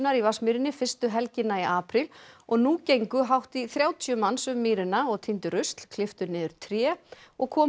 í Vatnsmýrinni fyrstu helgina í apríl og nú gengu hátt í þrjátíu manns um mýrina og týndu rusl klipptu niður tré og komu